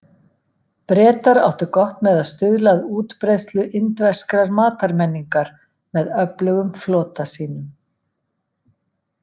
Bretar áttu gott með að stuðla að útbreiðslu indverskrar matarmenningar með öflugum flota sínum.